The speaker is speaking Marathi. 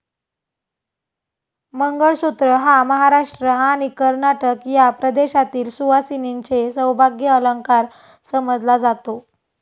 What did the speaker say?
मंगळसूत्र हा महाराष्ट्र आणि कर्नाटक या प्रदेशातील सुवासिनींचे सौभाग्य अलंकार समजला जातो.